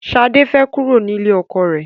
Sade fẹ́ kúrò nílé ọkọ rẹ̀